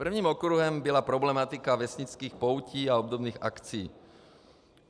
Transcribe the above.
Prvním okruhem byla problematika vesnických poutí a obdobných akcí.